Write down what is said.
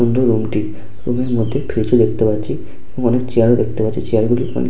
সুন্দর রুম টি রুমের মধ্যে ফ্রীজ ও দেখতে পাচ্ছি এবং অনেক চেয়ার ও দেখতে পাচ্ছি চেয়ার গুলি অনেক --